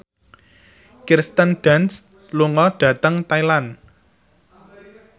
Kirsten Dunst lunga dhateng Thailand